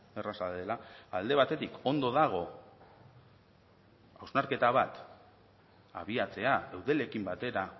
erraza dela alde batetik ondo dago hausnarketa bat abiatzea eudelekin batera